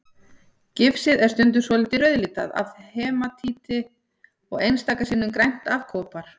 Gifsið er stundum svolítið rauðlitað af hematíti og einstaka sinnum grænt af kopar.